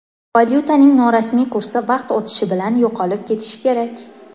Valyutaning norasmiy kursi vaqt o‘tishi bilan yo‘qolib ketishi kerak.